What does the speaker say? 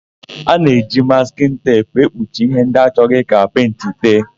A na-eji maskịn teepu ekpuchi íhé ndị achọghị ka pentị tee.